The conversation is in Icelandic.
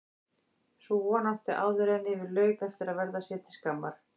Sú von átti áðuren yfir lauk eftir að verða sér til skammar.